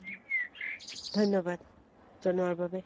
ধন্যবাদ, জনোৱাৰ বাবে।